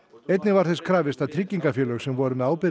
einnig var þess krafist að tryggingafélög sem voru með